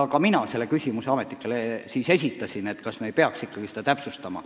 Ka mina küsisin ametnikelt, kas me ei peaks seda täpsustama.